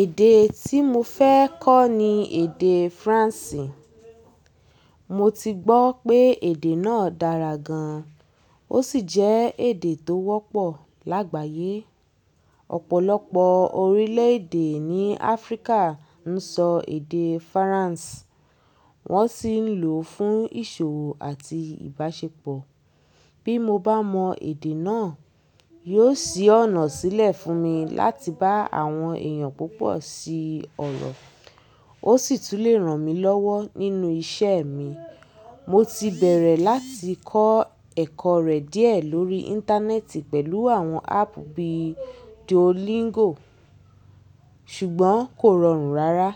Èdè tí mo fẹ́ kọ́ ni èdè Faransé. Mo ti gbọ́ pé èdè náà dára gan, ó sì jẹ́ èdè tó wọ́pọ̀ lágbàyé. Ọ̀pọ̀lọpọ̀ orílẹ̀-èdè ní Áfríkà ń sọ èdè Faransé, wọ́n sì ń lò ó fún ìṣòwò àti ìbáṣepọ̀. Bí mo bá mọ èdè náà, yóò ṣí ọ̀nà sílẹ̀ fún mi láti bá àwọn èèyàn púpọ̀ ṣe ọ̀rọ̀, ó sì tún lè ràn mí lọ́wọ́ nínú iṣẹ́ mi. Mo ti bẹ̀rẹ̀ láti kọ́ ẹ̀kọ́ rẹ̀ díẹ̀ lórí Íńtánẹ́ẹ̀tì pẹ̀lú àwọn áàpù bíi Duolingo, ṣùgbọ́n kò rọrùn rara.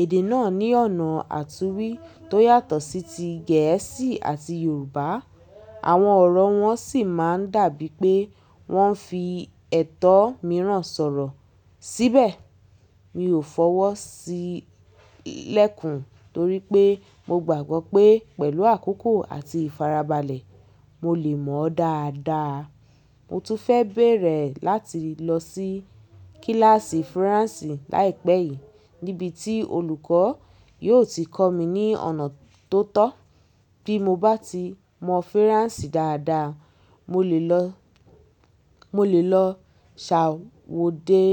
Èdè náà ní ọ̀nà àtúwí tó yàtọ̀ sí ti Gẹ̀ẹ́sì àti Yorùbá, àwọn ọ̀rọ̀ wọn sì máa ń dàbí pé wọ́n fi ẹ̀tọ́ mìíràn sọ̀rọ̀. Síbẹ̀, mi ò fọwọ́ sí í lẹ́kùn torí pé mo gbàgbọ́ pé pẹ̀lú àkókò àti ìfarabalẹ̀, mo lè mọ̀ ọ́ dáadáa. Mo tún fẹ́ bèrẹ̀ láti lọ sí kíláàsì Faransé láìpẹ́ yìí níbi tí olùkọ́ yóò ti kọ́ mi ní ọ̀nà tó tọ́. Bí mo bá ti mọ Faransé dáadáa, mo lè lọ, mo lè lọ ṣàwode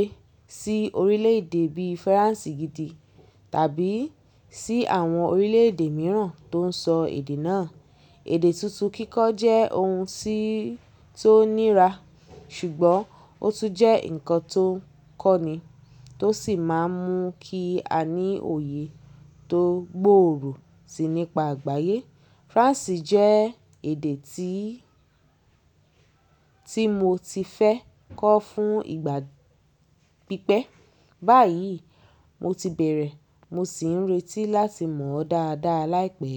sí orílẹ̀-èdè bí Faransé gidi tàbí sí àwọn orílẹ̀-èdè mìíràn tó ń sọ èdè náà. Èdè tuntun kíkọ́ jẹ́ ohun tí, tí ó nira, ṣùgbọ́n ó tún jẹ́ nǹkan tó ń kọ́ni, tó sì máa ń mú kí a ní òye tó gbòòrò si nípa àgbáyé. Faransé jẹ́ èdè tí, tí mo ti fẹ́ kọ́ fún ìgbà pípẹ́. Báyìí, mo ti bẹ̀rẹ̀, mo sì ń retí láti mọ̀ ọ́ dáadáa láìpẹ́